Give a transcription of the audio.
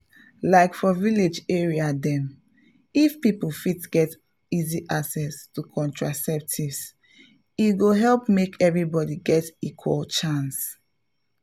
like for village area dem if people fit get easy access to contraceptives e go help make everybody get equal chance.